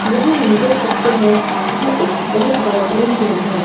यहां हम देख सकते हैं कि यह एक बहोत बड़ा ड्राइंग रूम है।